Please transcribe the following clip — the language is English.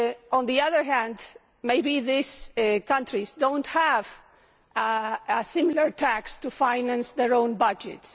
On the other hand, maybe these countries do not have a similar tax to finance their own budgets.